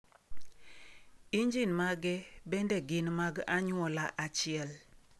Injin mage bende gin mag anyuola achiel.